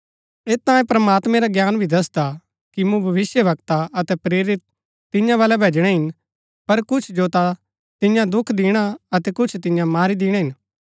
ऐत तांई प्रमात्मैं रा ज्ञान भी दसदा कि मूँ भविष्‍यवक्ता अतै प्रेरित तियां बलै भैजणै हिन पर कुछ जो ता तियां दुख दिणा अतै कुछ तियां मारी दिणै हिन